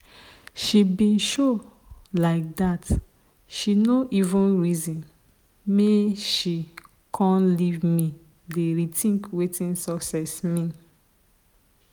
she bin show like dat she no even reason meshe come leave me dey rethink wetin success mean.